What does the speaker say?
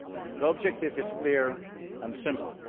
The objective is clear and simple.